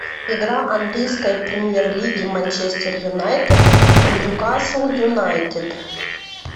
игра английской премьер лиги манчестер юнайтед ньюкасл юнайтед